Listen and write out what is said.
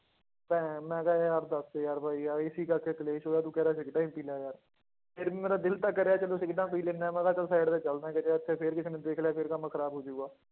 ਤੇ ਮੈਂ ਕਿਹਾ ਯਾਰ ਦੱਸ ਯਾਰ ਬਾਈ ਯਾਰ ਇਸੇ ਕਰਕੇ ਕਲੇਸ਼ ਹੋਇਆ ਤੂੰ ਕਹਿ ਰਿਹਾ ਸਿਗਰਟਾਂ ਹੀ ਪੀ ਲੈ ਯਾਰ, ਫਿਰ ਵੀ ਮੇਰਾ ਦਿਲ ਤਾਂ ਕਰਿਆ ਚਲੋ ਸਿਗਰਟਾਂ ਪੀ ਲੈਂਦਾ ਹੈ ਮੈਂ ਕਿਹਾ ਚੱਲ side ਤੇ ਚੱਲਦਾ ਕਿਸੇ ਪਾਸੇ ਫਿਰ ਕਿਸੇ ਨੇ ਦੇਖ ਲਿਆ ਫਿਰ ਕੰਮ ਖ਼ਰਾਬ ਹੋ ਜਾਊਗਾ,